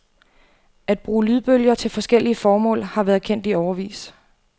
At bruge lydbølger til forskellige formål har været kendt i årevis.